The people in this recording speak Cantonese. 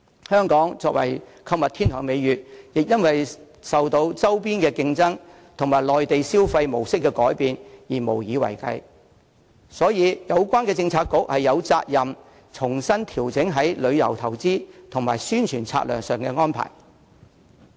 香港作為購物天堂的美譽亦因受周邊競爭及內地旅客消費模式的改變而無以為繼，所以有關政策局實有責任重新調整旅遊業投資及宣傳策略上的安排。